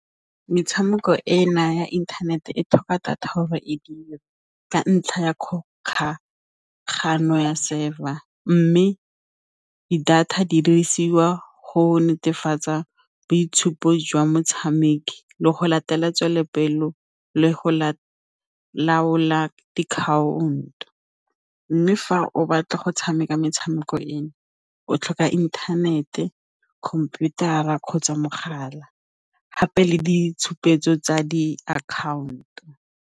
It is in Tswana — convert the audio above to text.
Metshameko e na ya inthanete e tlhoka data gore e dire ka ntlha ya kgokagano ya server mme di-data di dirisiwa go netefatsa boitshupo jwa motshameki le go latetswe le pelo le go la laola diakhaonto. Mme fa o batla go tshameka metshameko eno o tlhoka inthanete, khomputara kgotsa mogala gape le ditshupetso tsa di-account-o.